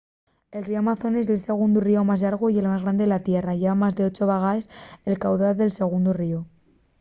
el ríu amazones ye'l segundu ríu más llargu y el más grande de la tierra lleva más de 8 vegaes el caudal del segundu ríu